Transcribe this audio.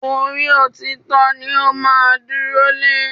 Orí òtítọ́ ni ó máa dúró lé